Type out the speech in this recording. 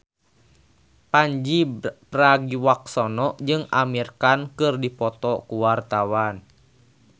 Pandji Pragiwaksono jeung Amir Khan keur dipoto ku wartawan